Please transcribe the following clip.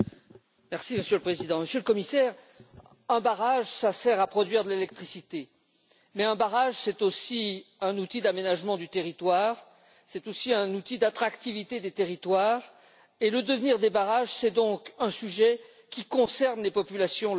Monsieur le Président, Monsieur le Commissaire, un barrage sert à produire de l'électricité, mais c'est aussi un outil d'aménagement du territoire, c'est aussi un outil d'attractivité des territoires. Le devenir de barrages est donc un sujet qui concerne les populations locales.